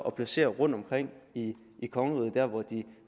at placere rundtomkring i kongeriget hvor de